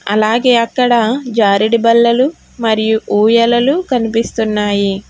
అలాగే అక్కడ జారెడి బల్లలు మరియు ఊయలలు కనిపిస్తున్నాయి.